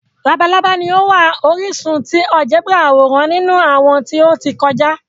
Labalaba ni o wa orisun ti áljẹbrà aworan ninu awọn ti o ti kọja.